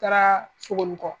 Taara Sogonikɔ.